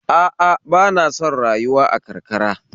A a ba na son rayuwa a karkara